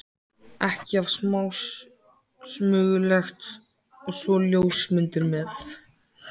ekki of smásmugulegt- og svo ljósmyndir með.